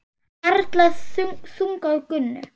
Harla þung á Gunnu.